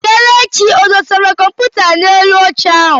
Kelechi ọ dụsara kọmputa n'elu oche ahụ?